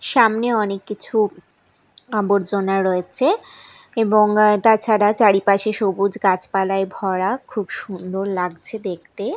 সামনে অনেক কিছু আবর্জনা রয়েছে এবং তাছাড়া চারিপাশে সবুজ গাছপালায় ভরা খুব সুন্দর লাগছে দেখতে।